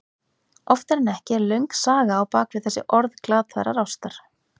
Oftar en ekki er löng saga á bak við þessi orð glataðrar ástar.